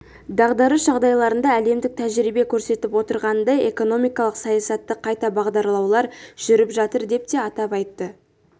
дағдарыс жағдайларында әлемдік тәжірибе көрсетіп отырғанындай экономикалық саясатты қайта бағдарлаулар жүріп жатыр деп те атап айтты